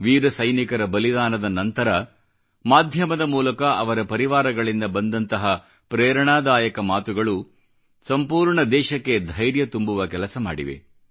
ವೀರ ಸೈನಿಕರ ಬಲಿದಾನದ ನಂತರ ಮಾಧ್ಯಮದ ಮೂಲಕ ಅವರ ಪರಿವಾರಗಳಿಂದ ಬಂದಂತಹ ಪ್ರೇರಣಾದಾಯಕ ಮಾತುಗಳು ಸಂಪೂರ್ಣ ದೇಶಕ್ಕೆ ಧೈರ್ಯ ತುಂಬುವ ಕೆಲಸ ಮಾಡಿವೆ